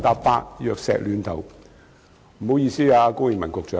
不好意思，高永文局長。